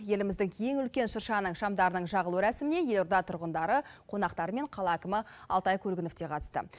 еліміздің ең үлкен шыршаның шамдарының жағылу рәсіміне елорда тұрғындары қонақтары мен қала әкімі алтай көлгінов те қатысты